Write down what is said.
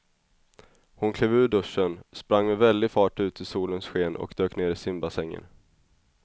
Hon klev ur duschen, sprang med väldig fart ut i solens sken och dök ner i simbassängen.